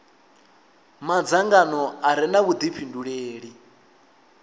madzangano a re na vhudifhinduleli